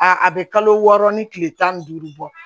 A a bɛ kalo wɔɔrɔ ni kile tan ni duuru bɔ